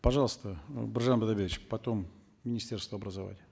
пожалуйста биржан бидайбекович потом министерство образования